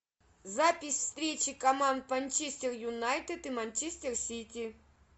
запись встречи команд манчестер юнайтед и манчестер сити